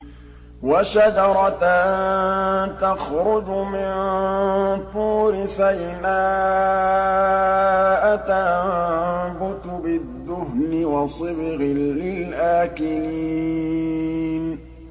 وَشَجَرَةً تَخْرُجُ مِن طُورِ سَيْنَاءَ تَنبُتُ بِالدُّهْنِ وَصِبْغٍ لِّلْآكِلِينَ